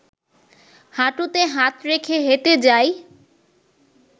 হাঁটুতে হাত রেখে হেঁটে যাই